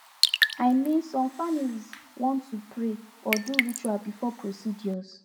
i min some familiz wan to pray or do ritual before procedures